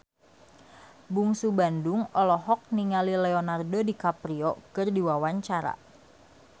Bungsu Bandung olohok ningali Leonardo DiCaprio keur diwawancara